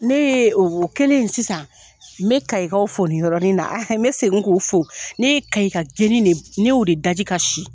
Ne ye o kɛlen sisan, n bɛ Kayikaw fo nin yɔrɔnin na, n bɛ segin k'o fo ne ye Kayi ka geni de ne y'o de da ji ka si